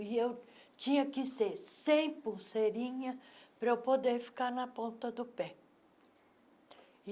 E eu tinha que ser sem pulseirinha para eu poder ficar na ponta do pé.